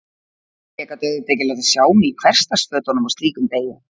Ég gat auðvitað ekki látið sjá mig í hversdagsfötunum á slíkum degi.